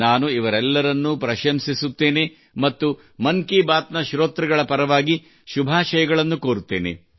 ನಾನು ಇವರೆಲ್ಲರನ್ನೂ ಪ್ರಶಂಸಿಸುತ್ತೇನೆ ಮತ್ತು ಮನ್ ಕಿ ಬಾತ್ ನ ಶ್ರೋತೃಗಳ ಪರವಾಗಿ ಶುಭಾಶಯಗಳನ್ನು ಕೋರುತ್ತೇನೆ